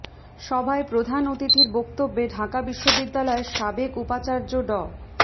সভায় প্রধান অতিথির বক্তব্যে ঢাকা বিশ্ববিদ্যালয়ের সাবেক উপাচার্য ড